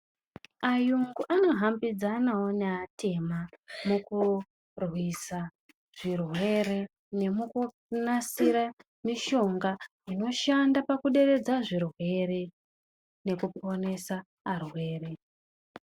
Ayungu anohambidzanawo neatema mukurwisa zvirwere nemukunasira mishonga inoshanda pakuderedza zvirwere nekuponesa arwere.